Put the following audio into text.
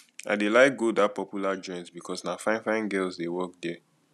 i dey like go dat popular joint because na finefine girls dey work there